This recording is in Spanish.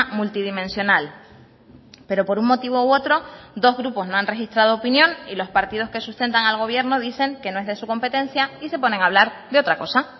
multidimensional pero por un motivo u otro dos grupos no han registrado opinión y los partidos que sustentan al gobierno dicen que no es de su competencia y se ponen a hablar de otra cosa